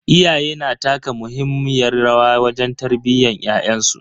Iyaye na taka muhimmiyar rawa wajen tarbiyyan ƴaƴansu.